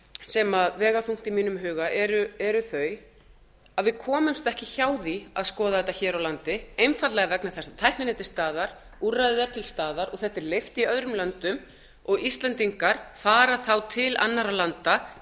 sem vega þungt í mínum huga eru þau að við komumst ekki hjá því að skoða þetta hér á landi einfaldlega vegna þess að tæknin er til staðar úrræðið er til staðar og þetta er leyft í öðrum löndum og íslendingar fara þá til annarra landa